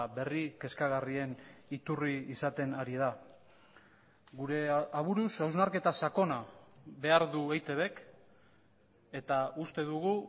berri kezkagarrien iturri izaten ari da gure aburuz hausnarketa sakona behar du eitbk eta uste dugu